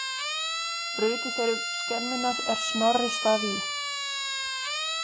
Brutu þeir upp skemmuna er Snorri svaf í.